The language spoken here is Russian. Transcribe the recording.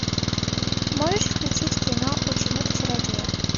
можешь включить кино ученик чародея